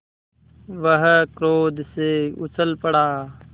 वह क्रोध से उछल पड़ा